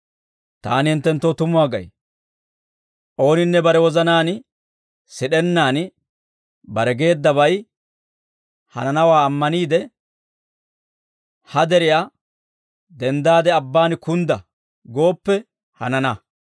Taani hinttenttoo tumuwaa gay; ooninne bare wozanaan sid'ennaan bare geeddabay hananawaa ammaniide, ha deriyaa, ‹Denddaade abbaan kundda› gooppe hanana.